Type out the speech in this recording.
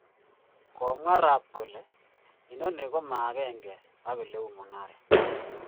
Kumwa Raab kole, " Inoni koma agenge ak oleu mung'aret."